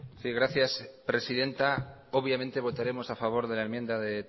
sí gracias presidenta obviamente votaremos a favor de la enmienda de